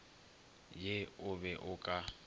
ye o be o ka